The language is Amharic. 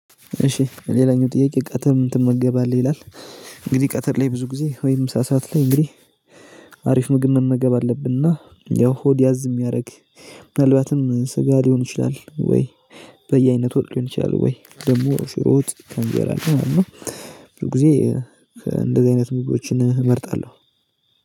እሺ ሌላኛው ጥያቄ ቀትር ምን ትመገባለህ ይላል? እንግዲህ ቀትር ላይ ብዙ ጊዜ ወይም ምሳ ሰዓት ላይ እንግዲህ አሪፍ ምግብ መመገብ አለብንና ያው ሆድ ያዝ የሚያደርግ። ምናልባትም ስጋ ሊሆን ይችላል ወይ። በየአይነት ወጥ ሊሆን ይችላል ወይ ደግሞ ሽሮ ወጥ ከእንጀራ ጋር ማለት ነው። ብዙ ጊዜ እንደዚህ አይነት ምግቦችን እመርጣለሁ።